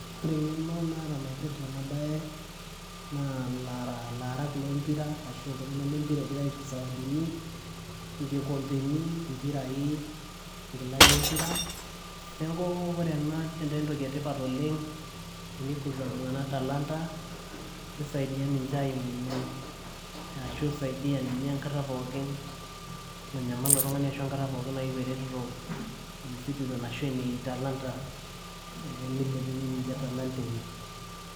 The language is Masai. ore eng'eno naata naipirrta ena baye naa ilarak lempira ashu iltung'anak lempira egirae aisho isawadini nkikombeni impirai inkilani empira neeku ore ena netaa entoki etipat oleng tenikuza iltung'anak talanta misaidia ninche aimunyie ashu isaidiyia ninye enkata pookin nanyamal ilo tung'ani ashu enkata pookin nayieu eretoto e e citizen ashu ene e talanta ee milepunyie ninche talanta enye.